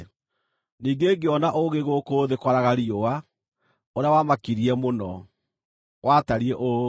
Ningĩ ngĩona ũũgĩ gũkũ thĩ kwaraga riũa ũrĩa wamakirie mũno, watariĩ ũũ: